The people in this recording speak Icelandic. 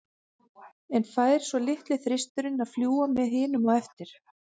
En fær svo litli þristurinn að fljúga með hinum á eftir?